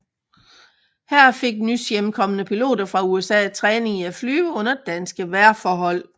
Her fik nys hjemkomne piloter fra USA træning i at flyve under danske vejrforhold